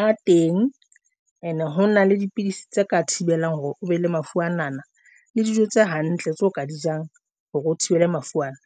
a teng ene. Hona le dipidisi tse ka thibelang hore o be le mafu ana le dijo tse hantle tseo ka di jewang hore o thibele mafu ana.